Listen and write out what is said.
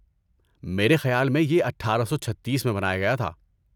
میرے خیال میں یہ اٹھارہ سو چھتیس میں بنایا گیا تھا